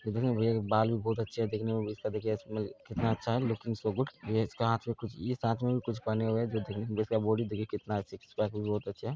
दिखने में भैया के बाल उल बहुत अच्छे है दिखने में कितना अच्छा है लुकिंग सो गुड | भैया इसको हाथ में कुछ इस हाथ में कुछ पहने हुए है कुछ जिसका बॉडी देखिये सिक्स पैक बहुत अच्छा है |